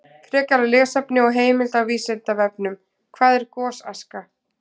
Frekara lesefni og heimild á Vísindavefnum: Hvað er gosaska?